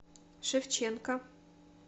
шевченко